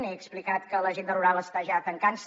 he explicat que l’agenda rural està ja tancant se